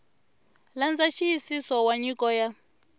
landza nxiyisiso wa nyiko ya